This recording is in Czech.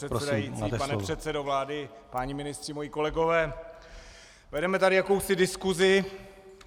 Pane předsedající, pane předsedo vlády, páni ministři, moji kolegové, vedeme tady jakousi diskusi.